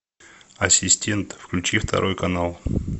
ассистент включи второй канал